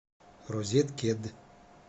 розеткед